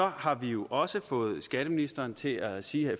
har vi jo også fået skatteministeren til at sige